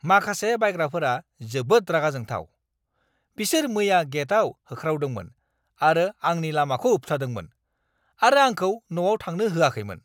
माखासे बायग्राफोरा जोबोद रागाजोंथाव। बिसोर मैया गेटआव होख्रावदोंमोन आरो आंनि लामाखौ होबथादोंमोन, आरो आंखौ न'आव थांनो होआखैमोन!